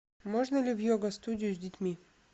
можно ли в йога студию с детьми